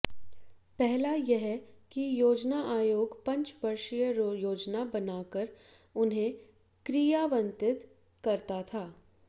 पहला यह कि योजना आयोग पंचवर्षीय योजना बनाकर उन्हें क्रियान्वित करता था